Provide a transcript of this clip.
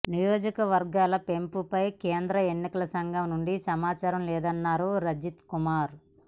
నియోజకవర్గాల పెంపుపై కేంద్ర ఎన్నికల సంఘం నుండి సమాచారం లేదన్నారు రజత్ కుమార్